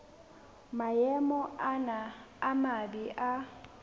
maemo ana a mabe a